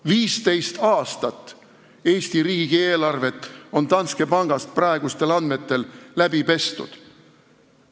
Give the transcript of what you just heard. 15 aastat Eesti riigi eelarvet on Danske pangas praegustel andmetel läbi pestud.